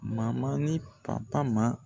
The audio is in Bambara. ni ma